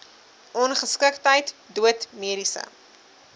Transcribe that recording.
ongeskiktheid dood mediese